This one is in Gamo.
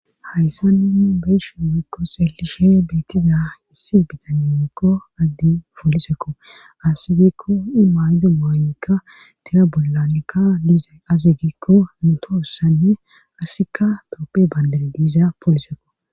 hayssa nuu beeshe wekko seelishe beettiza issi bitanemekko agdi poolisekko asigikko imaydu maaykka tina bollanekka diiza asigikko mutoossanne asika tooppe bayndare diiza poolisekko